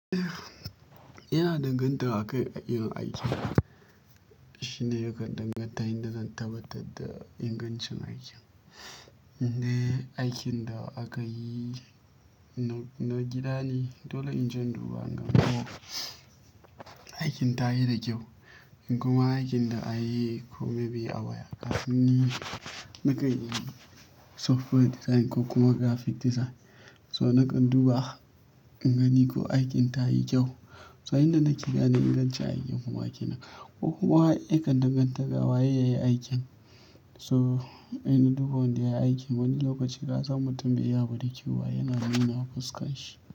Ina danganta a kai a irin aikin. Shi ne yakan danganta yadda zan tabbatar da ingancin aikin inde aikin da aka yi na gida ne, dole in je duba ingano aikin ta yi da kyau. In kuma aikin da a yi ko maybe abaya, kasan ni nakan yi software design ko kuma graphic design. To ni kan duba in gani ko aikin ta yi kyau. To ai inda nike da na inganci aikin kuma nan. Ko kuma yakan danganta ga waye ya yi aikin. To in duba wanda ya yi aikin wani lokaci ka san mutum bai yi abu da kyau ba yana nuna fuskarshi.